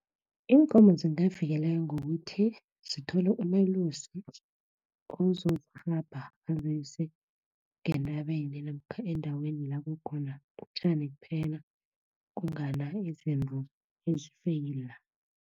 Iinkomo zikavikeleka ngokuthi, zithole umelusi, ozokhamba azise ngentabeni namkha endaweni lakukhona utjani kuphela, kungana izinto ezifeyila.